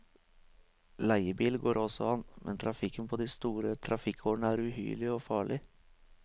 Leiebil går også an, men trafikken på de store trafikkårene er uhyrlig og farlig.